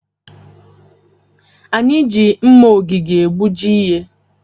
Anyị ji mma ogige egbuji ihe.